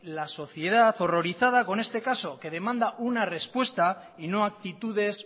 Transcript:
la sociedad horrorizada con este caso que demanda una respuesta y no actitudes